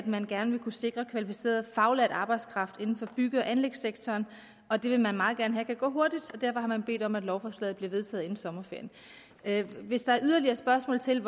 man gerne vil kunne sikre kvalificeret faglært arbejdskraft inden for bygge og anlægssektoren det vil man meget gerne have kan gå hurtigt og derfor har man bedt om at lovforslaget bliver vedtaget inden sommerferien hvis der er yderligere spørgsmål til